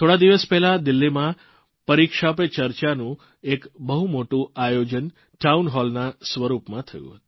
થોડા દિવસ પહેલાં દિલ્હીમાં પરીક્ષા પે ચર્ચાનું એક બહુ મોટું આયોજન ટાઉનહોલ સ્વરૂપમાં થયું